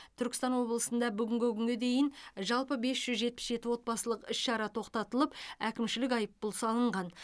түркістан облысында бүгінгі күнге дейін жалпы бес жүз жетпіс жеті отбасылық іс шара тоқтатылып әкімшілік айыппұл салынған